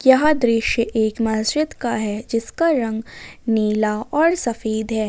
यहां दृश्य एक मस्जिद का है जिसका रंग नीला और सफेद है।